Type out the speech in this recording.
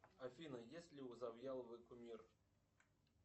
афина есть ли у завьяловой кумир